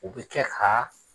O bi kɛ ka